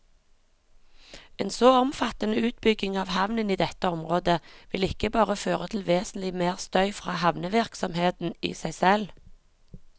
En så omfattende utbygging av havnen i dette området vil ikke bare føre til vesentlig mer støy fra havnevirksomheten i seg selv.